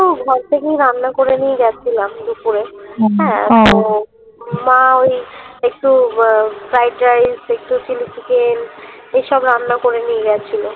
ঘর থেকেই রান্না করে নিয়ে গেছিলাম দুপুরে হ্যাঁ তো মা ওই একটু একটু fried rice একটু chili chicken এইসব রান্না করে নিয়ে গেছিলো